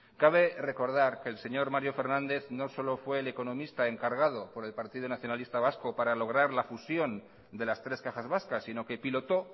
cabe recordar que el señor mario fernández no solo fue el economista encargado por el partido nacionalista vasco para lograr la fusión de las tres cajas vascas sino que pilotó